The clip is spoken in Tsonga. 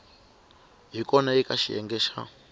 hi kona eka xiyenge xa